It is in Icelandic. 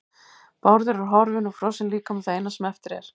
Bárður er horfinn og frosinn líkami það eina sem eftir er.